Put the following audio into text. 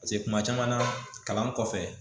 paseke kuma caman na kalan kɔfɛ